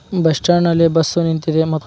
bus stand ನಲ್ಲಿ bus ನಿಂತಿದೆ ಮ --